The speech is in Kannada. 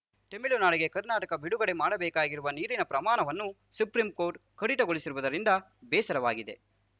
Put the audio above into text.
ತಮಿಳುನಾಡಿಗೆ ಕರ್ನಾಟಕ ಬಿಡುಗಡೆ ಮಾಡಬೇಕಾಗಿರುವ ನೀರಿನ ಪ್ರಮಾಣವನ್ನು ಸುಪ್ರೀಂ ಕೋರ್ಟ್‌ ಕಡಿತಗೊಳಿಸಿರುವುದರಿಂದ ಬೇಸರವಾಗಿದೆ